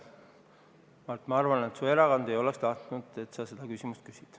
Mart, ma arvan, et su erakond ei oleks tahtnud, et sa selle küsimuse küsid.